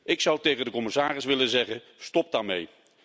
Ik zou tegen de commissaris willen zeggen stop daarmee.